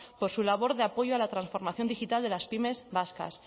por su labor de apoyo a la transformación digital de las pymes vascas